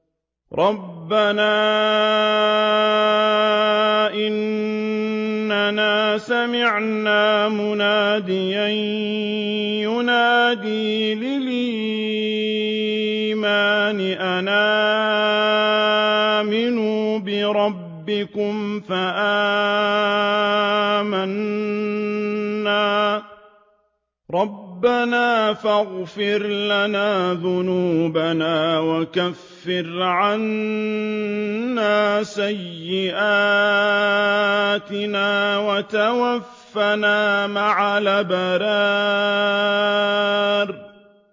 رَّبَّنَا إِنَّنَا سَمِعْنَا مُنَادِيًا يُنَادِي لِلْإِيمَانِ أَنْ آمِنُوا بِرَبِّكُمْ فَآمَنَّا ۚ رَبَّنَا فَاغْفِرْ لَنَا ذُنُوبَنَا وَكَفِّرْ عَنَّا سَيِّئَاتِنَا وَتَوَفَّنَا مَعَ الْأَبْرَارِ